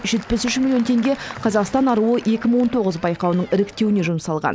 жетпіс үш миллион теңге қазақстан аруы екі мың он тоғыз байқауының іріктеуіне жұмсалған